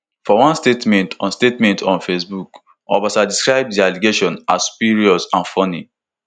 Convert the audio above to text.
for one statement on statement on facebook obasa describe di allegations as spurious and funny